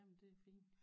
Jamen det er fint